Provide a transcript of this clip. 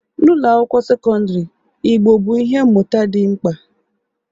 N'ụlọ akwụkwọ sekọndrị, Igbo bụ ihe mmụta dị mkpa